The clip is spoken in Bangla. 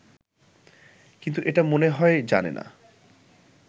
কিন্তু এটা মনে হয় জানে না